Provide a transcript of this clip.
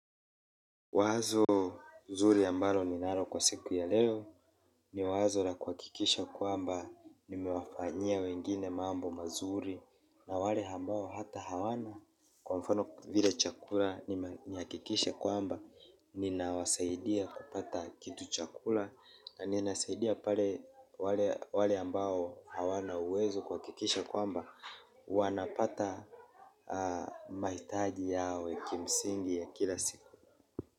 Wazo zuri ambalo ninalo kwa siku ya leo. Ni wazo la kuhakikisha kwamba nimewafanyia wengine mambo mazuri na wale ambao hata hawana kwa mfano vile chakula nihakikishe kwamba ninawasaidia kupata kitu chakula. Naninasaidia pale wale ambao hawana uwezo kuhakikisha kuamba wanapata mahitaji yao ya kimsingi ya kila siku.